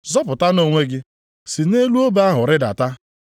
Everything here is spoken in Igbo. Zọpụtanụ onwe gị! Si nʼelu obe ahụ rịdata.”